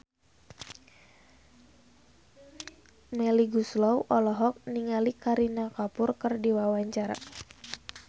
Melly Goeslaw olohok ningali Kareena Kapoor keur diwawancara